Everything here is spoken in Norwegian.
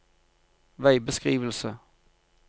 veibeskrivelse